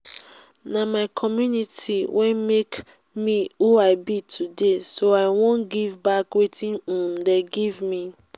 na my community wey make me who i be today so i wan give back wetin um dey give me